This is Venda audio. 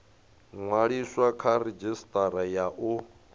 ṅwaliswa kha redzhisitara ya u